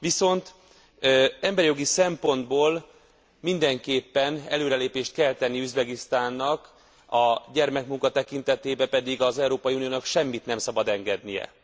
Viszont emberjogi szempontból mindenképpen előrelépést kell tennie Üzbegisztánnak, a gyermekmunka tekintetében pedig az Európai Uniónak semmit nem szabad engednie.